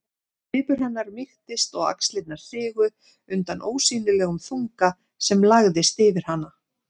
Svipur hennar mýktist og axlirnar sigu undan ósýnilegum þunga sem lagðist yfir hana.